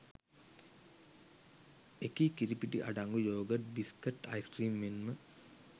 එකී කිරිපිටි අඩංගු යෝගට් බිස්කට් අයිස්ක්‍රීම් මෙන්ම